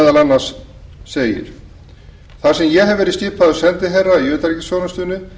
og hljóðar svo þar sem ég hef verið skipaður sendiherra í utanríkisþjónustunni frá og með